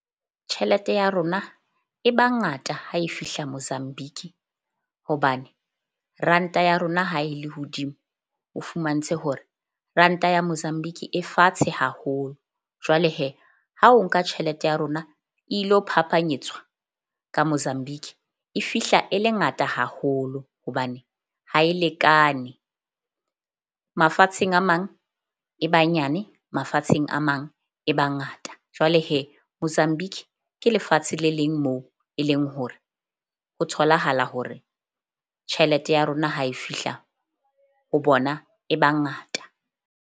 Tjhelete ya rona e ba ngata ha e fihla Mozambique, hobane ranta ya rona ha e le hodimo, o fumantshe hore ranta ya Mozambique e fatshe haholo. Jwale ha o nka tjhelete ya rona e ilo phapanyetswa ka Mozambique e fihla e le ngata haholo. Hobane ha e lekane. Mafatsheng a mang e ba nyane mafatsheng a mang e ba ngata. Jwale Mozambique ke lefatshe le leng moo e leng hore ho tholahala hore tjhelete ya rona ha e fihla ho bona e ba ngata.